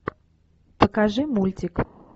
покажи мультик